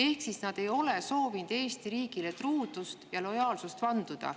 Ehk siis nad ei ole soovinud Eesti riigile truudust ja lojaalsust vanduda.